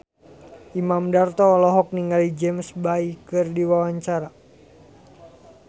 Imam Darto olohok ningali James Bay keur diwawancara